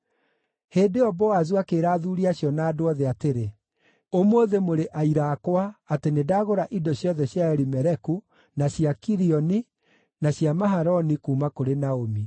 Hĩndĩ ĩyo Boazu akĩĩra athuuri acio na andũ othe atĩrĩ, “Ũmũthĩ mũrĩ aira akwa atĩ nĩndagũra indo ciothe cia Elimeleku, na cia Kilioni, na cia Mahaloni kuuma kũrĩ Naomi.